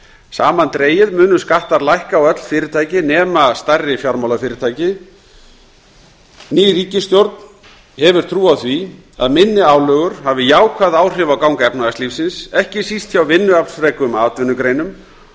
samandregið munu skattar lækka á öll fyrirtæki nema stærri fjármálafyrirtæki ný ríkisstjórn hefur trú á því að minni álögur hafi jákvæð áhrif á gang efnahagslífsins ekki síst hjá vinnuaflsfrekum atvinnugreinum